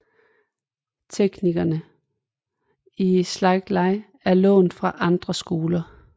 Teknikkerne i Seitei Iai er lånt fra andre skoler